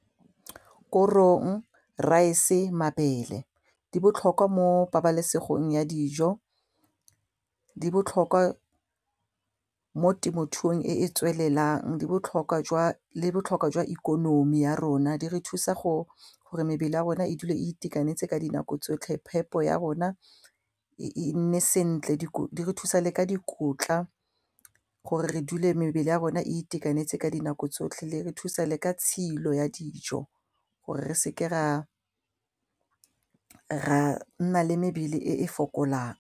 Korong, raese, mabele di botlhokwa mo pabalesegong ya dijo, di botlhokwa mo temothuong e e tswelelang di botlhokwa jwa le botlhokwa jwa ikonomi ya rona, di re thusa go gore mebele ya rona e dule a itekanetse ka dinako tsotlhe phepo ya rona e nne sentle, di re thusa le ka dikotla gore re dule mebele ya rona e itekanetse ka dinako tsotlhe le re thusa le ka tshilo ya dijo gore re seke ra nna le mebele e e fokolang.